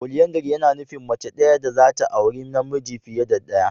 "Polyandry" yana nufin mace daya dazata auri namiji fiye da daya.